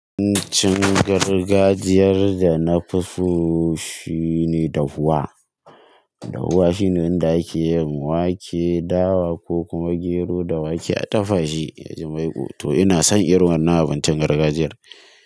Abincin gargajiyar da na fi so shine dahuwa. Dahuwa shine wanda ake yin wake, dawa ko kuma gero da wake a dafashi ya ji maiƙo. To ina son irin wannan abincin gargajiyar.